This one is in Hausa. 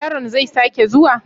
Yaron zai sake zuwa?